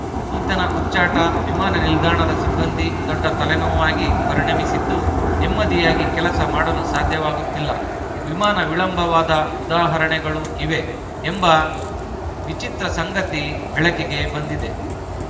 ಈತನ ಹುಚ್ಚಾಟ ವಿಮಾನ ನಿಲ್ದಾಣದ ಸಿಬ್ಬಂದಿ ದೊಡ್ಡ ತಲೆನೋವಾಗಿ ಪರಿಣಮಿಸಿದ್ದು ನೆಮ್ಮದಿಯಾಗಿ ಕೆಲಸ ಮಾಡಲು ಸಾಧ್ಯವಾಗುತ್ತಿಲ್ಲ ವಿಮಾನ ವಿಳಂಬವಾದ ಉದಾಹರಣೆಗಳೂ ಇವೆ ಎಂಬ ಎಂಬ ವಿಚಿತ್ರ ಸಂಗತಿ ಬೆಳಕಿಗೆ ಬಂದಿದೆ